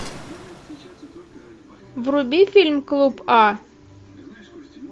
вруби фильм клуб а